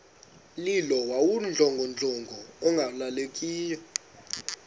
mlilo wawudlongodlongo ungalawuleki